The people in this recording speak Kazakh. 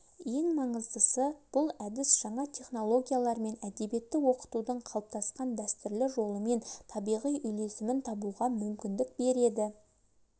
ең маңыздысы бұл әдіс жаңа технологиялар мен әдебиетті оқытудың қалыптасқан дәстүрлі жолымен табиғи үйлесімін табуға мүмкіндік береді